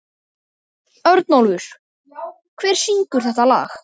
Örnólfur, hver syngur þetta lag?